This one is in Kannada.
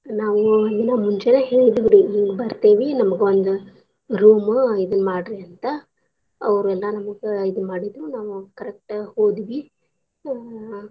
ನಾವು ಒಂದಿನಾ ಮುಂಚೆ ಹೇಳಿದ್ವಿ ರಿ ಹಿಂಗ್ ಬರ್ತೇವೀ ನಮ್ಗ ಒಂದ್ room ಇದನ್ ಮಾಡ್ರಿ ಅಂತ ಅವ್ರ ಎಲ್ಲಾ ನಮ್ಗ ಇದನ್ ಮಾಡಿದ್ರು ನಾವು correct ಆಗ್ ಹೋದ್ವಿ ಅ.